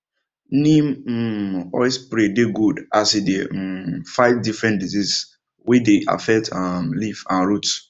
neem um oil spray dey good as e dey um fight different disease wey dey affect um leaf and root